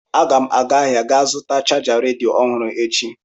Aga m aga ahịa ga zụta chaja redio ọhụrụ echi.